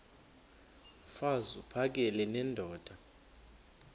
mfaz uphakele nendoda